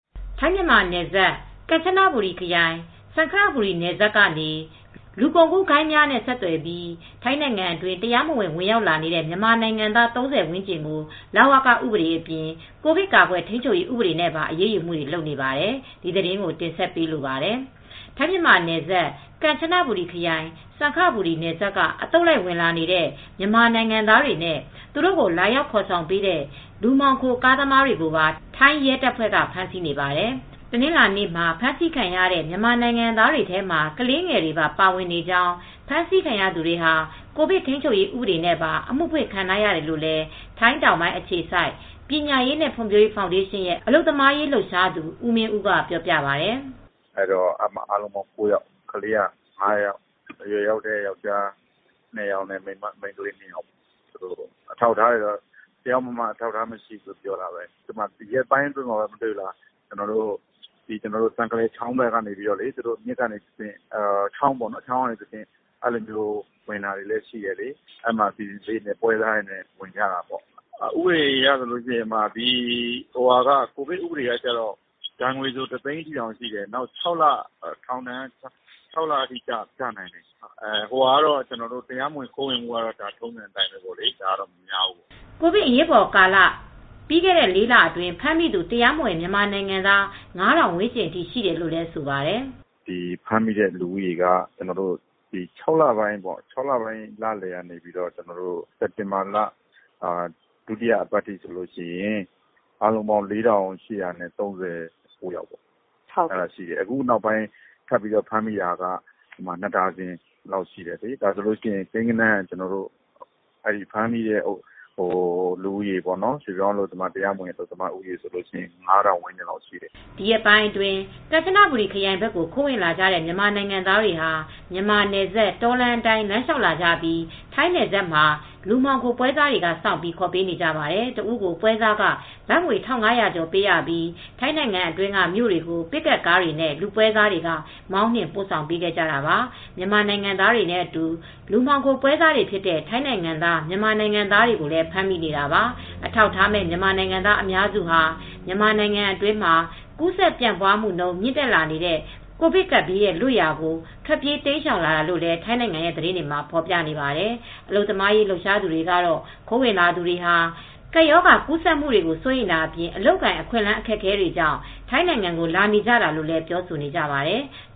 ထိုင်း-မြန်မာနယ်စပ် ကမ်ချဘူရီခရိုင် စံခဘူရီနယ်စပ်ကနေ လူကုန်ကူး ဂိုဏ်းများနဲ့ဆက်သွယ်ပြီး ထိုင်းနိုင်ငံအတွင်း တရားမဝင် ဝင်ရောက်လာနေတဲ့ မြန်မာနိုင်ငံသား ၃၀ ဝန်းကျင်ကို လဝက ဥပဒေအပြင် ကိုဗစ်ကာကွယ်ထိန်းချုပ်ရေးဥပဒေနဲ့ ပါ အရေးယူမူတွေလုပ်နေပါတယ်။ ဒီသတင်းကိုမအေးအေးမာက တင်ဆက်ပေးမှာပါ။ ထိုင်း-မြန်မာနယ်စပ် ကမ်ချနဘူရီခရိုင် စံခဘူရီနယ်စပ်က အသုတ်လိုက်ဝင်နေတဲ့ မြန်မာ နိုင်ငံသား တွေနဲ့ သူတို့ကို လာရောက်ခေါ်ဆောင်ပေးတဲ့ လူမှောင်ခိုကားတွေကို ပါ ထိုင်းရဲတပ်ဖွဲတွေက ဖမ်းဆီးနေပါတယ်။ တနင်္လာနေ့မှာ ဖမ်းဆီးခံရတဲ့ မြန်မာနိုင်ငံသား တွေမှာ ကလေးငယ်တွေပါ ပါဝင်နေကြောင်း ဖမ်းဆီးခံရသူတွေဟာ ကိုဗစ်ထိန်းချုပ်ရေးဥပဒေနဲ့ ပါ အမူဖွင့်ခံထားရတယ်လို့ ထိုင်းတောင်ပိုင်း အခြေစိုက်ပညာရေးနဲ့ ဖွံ့ဖြိုးရေး ဖောင်ဒေးရှင်းရဲ့ အလုပ်သမားရေးလှုပ်ရှားသူ ဦးမင်းဦးက ပြောပြပါတယ်။ “အားလုံးက ၉ ယောက် ကလေးက ၅ ယောက် အရွယ်ရောက်တဲ့ အမျိုးသား ၂ယောက်၊ အမျိုးသမီး ၂ယောက်ပါတယ်။ အထောက်အထားတွေကတော့ တယောက်မှ မရှိဘူး။ ဒီရက်ပိုင်းမှာပဲ စံခလယ်ချောင်းဘက်နေ ပွဲစားတွေနဲ့ ဝင်နေတာတွေလည်းရှိတယ်။ ဥပဒေအရဆိုရင် ကိုဗစ်ဥပဒေဆိုရင် ဒဏ်ငွေက တသိန်းထိရှိတယ်။ ထောင်ဒဏ် ၆လအထိကျနိုင်တယ် ။ ခိုးဝင်မူကတော့ ပြစ်ဒဏ်သိပ် မများဘူး။” ကိုဗစ်အရေးပေါ်ကာလ ပြီးခဲ့တဲ့ ၄လအတွင်း ဖမ်းမိသူ တရားမဝင်မြန်မာနိုင်ငံသား ၅ထောင်ဝန်ကျင်းအထိ ရှိတယ်လို့လည်းဆိုပါတယ်။ “ဖမ်းမိတဲ့လူဦးရေကတော့ ၆ လပိုင်းလလည်ကနေ စက်တင်ဘာလ ဒုတိယပတ်အထိ အားလုံး ပေါင်း ၄၈၃၉ ယောက် ၊ အခုနောက်ပိုင်းဖမ်းမိတာ နှစ်ဒါဇင်လောက်ရှိတယ်။ အခုဆိုရင် ဖမ်းမိတဲ့ရွှေ့ပြောင်းအလုပ်သမားဦးရေက ၅ထောင်ဝန်းကျင်လောက်ရှိတယ်။” ဒီရက်ပိုင်းအတွင်း ကမ်ချနဘူရီခရိုင်ဘက်ကို ခိုးဝင်လာကြတဲ့ မြန်မာနိုင်ငံသားတွေဟာ မြန်မာနယ်စပ် တောလမ်းအတိုင်းလမ်းလျှောက်လာကြပြီး ထိုင်းနယ်စပ်မှာ လူမှောင်ခို ပွဲစားတွေက စောင့်ပြီးခေါ်ပေးကြပါတယ်။ တစ်ဦးကိုပွဲစားခ ဘတ်ငွေ၁၅၀၀ ကျော်ပေးရပြီး ထိုင်းနိုင်ငံအတွင်းက မြို့တွေကို ပစ်ကပ်ကားတွေနဲ့ လူပွဲစားတွေက မောင်းနှင်ပို့ဆောင်နေကြတာပါ မြန်မာနိုင်ငံသားတွေနဲ့ အတူ လူမှောင်ခိုပွဲစားတွေ ဖြစ်တဲ့ထိုင်းနိုင်ငံသား၊ မြန်မာနိုင်ငံသားများကိုလည်းဖမ်းမိနေတာပါ။ အထောက်အထားမဲ့ မြန်မာနိုင်ငံသားများစုဟာ မြန်မာနိုင်ငံတွင်းမှာ ကူးစက်ပြန့်ပွားမူ မြင့်တက်လာနေတဲ့ ကိုဗစ်-ကပ်ဘေးကနေ လွတ်ရာကို ထွက်ပြေးတိမ်းရှောင်လာကြတာလို့လည်း ထိုင်းနိုင်ငံသတင်းတွေမှာဖေါ်ပြနေပါတယ်။ အလုပ်သမားရေး လှုပ်ရှားနေသူတွေ ကတော့ ခိုးဝင်လာသူတွေဟာ ကပ်ရောဂါ ကူးစက်မူတွေကို စိုးရိမ်တာအပြင် အလုပ်အကိုင်အခွင့်အလန်းအခက်အခဲတွေကြောင့် ထိုင်းနိုင်ငံကို လာနေကြတာလို့လည်း ပြောဆိုကြပါတယ်။